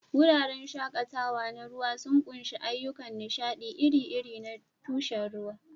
Wuraren shakatawa na ruwa sun ƙunshi ayyukan nishaɗi iri-iri na tushen ruwa.